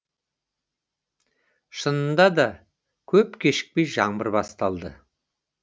шынында да көп кешікпей жаңбыр басталды